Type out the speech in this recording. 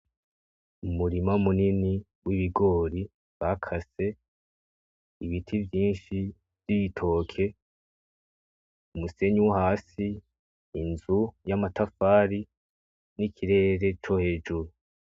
Umurima munini w'ibigori bakase, ibiti vyinshi vy'ibitoke, umusenyi wo hasi, inzu y'amatafari n'ikirere co hejuru.